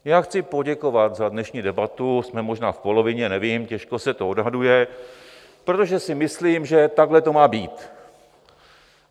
Já chci poděkovat za dnešní debatu - jsme možná v polovině, nevím, těžko se to odhaduje, protože si myslím, že takhle to má být.